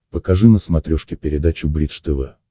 покажи на смотрешке передачу бридж тв